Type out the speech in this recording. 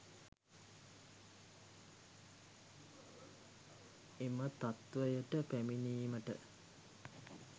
එම තත්ත්වයට පැමිණීමට